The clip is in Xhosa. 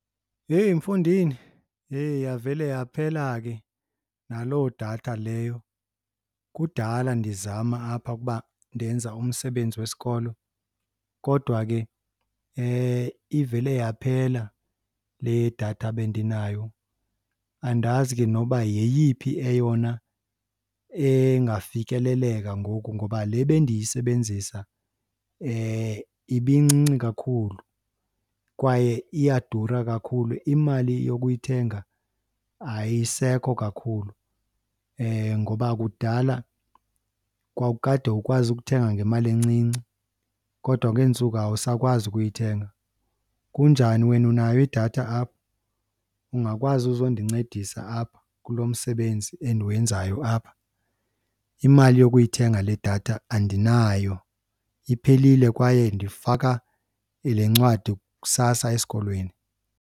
Heyi mfondini, heyi yavele yaphela ke naloo datha leyo. Kudala ndizama apha ukuba ndenza umsebenzi wesikolo kodwa ke ivele yaphela le datha bendinayo. Andazi ke noba yeyiphi eyona engafikeleleka ngoku ngoba le bendiyisebenzisa ibincinci kakhulu kwaye iyadura kakhulu, imali yokuyithenga ayisekho kakhulu ngoba kudala kwakukade ukwazi ukuthenga ngemali encinci kodwa kwezi ntsuku awusakwazi ukuyithenga. Kunjani wena, unayo idatha apho? Ungakwazi uzondincedisa apha kulo msebenzi endiwenzayo apha? Imali yokuyithenga le datha andinayo, iphelile kwaye ndifaka le ncwadi kusasa esikolweni.